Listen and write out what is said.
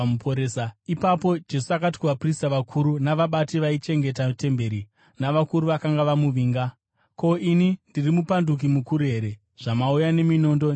Ipapo Jesu akati kuvaprista vakuru navabati vaichengeta temberi, navakuru vakanga vamuvinga, “Ko, ini ndiri mupanduki mukuru here, zvamauya neminondo netsvimbo?